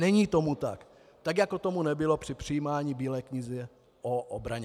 Není tomu tak, tak jako tomu nebylo při přijímání Bílé knihy o obraně.